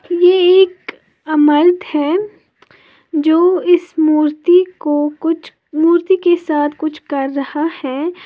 ये एक अमर्त है जो इस मूर्ति को कुछ मूर्ति के साथ कुछ कर रहा है।